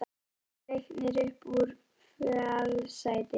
Kemst Leiknir upp úr fallsæti?